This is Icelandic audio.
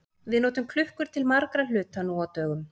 Við notum klukkur til margra hluta nú á dögum.